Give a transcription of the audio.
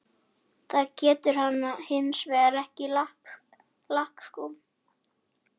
Það getur hann hins vegar ekki í lakkskóm.